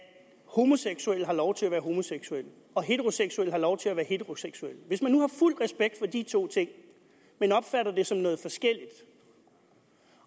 homoseksuelle har lov til at være homoseksuelle og heteroseksuelle har lov til at være heteroseksuelle hvis man nu har fuld respekt for de to ting men opfatter det som noget forskelligt